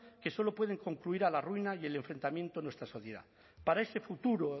que solo pueden concluir a la ruina y el enfrentamiento en nuestra sociedad para ese futuro